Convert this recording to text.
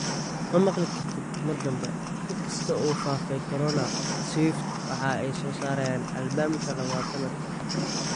Ma maqli kartid mar dambe In kasta oo uu faafay Corona, Swift waxa ay soo saaraysaa albamka labaad sanadkan.